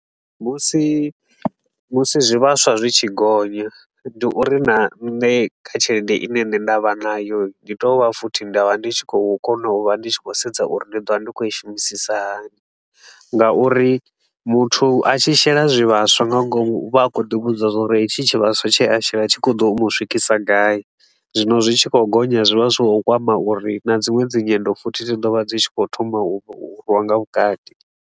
Musi musi zwivhaswa zwi tshi gonya, ndi uri na nṋe kha tshelede i ne nne nda vha nayo hii, ndi tea u vha futhi nda vha ndi tshi khou kona u vha ndi tshi khou sedza uri ndi ḓo vha ndi khou i shumisisa hani. Nga uri muthu a tshi shela zwivhaswa nga ngomu, u vha a khou ḓi vhudza uri hetshi tshi vhaswa tshe a shela tshi khou ḓo mu swikisa gai. Zwino zwi tshi khou gonya zwi vha zwi khou kwama uri na dziṅwe dzi nyendo futhi zwi ḓo vha dzi tshi khou thoma u nga vhukati.